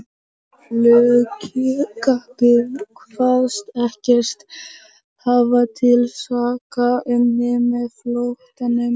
Flugkappinn kvaðst ekkert hafa til saka unnið með flóttanum.